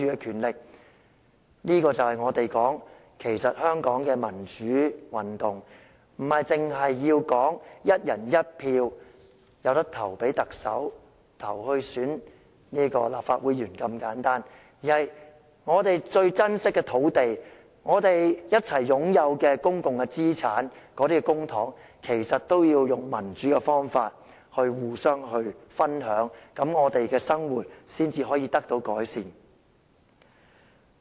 這就是我們所說的，香港的民主運動不只是"一人一票"選特首及立法會議員如此簡單的要求，而是我們最珍惜的土地、共同擁有的公共資產，即公帑，都要用民主的方法互相分享，我們的生活才可以得到改善。